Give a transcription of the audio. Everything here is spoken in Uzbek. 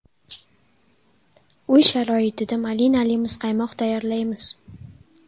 Uy sharoitida malinali muzqaymoq tayyorlaymiz.